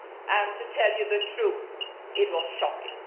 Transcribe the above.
and, to tell you the truth, it was shocking.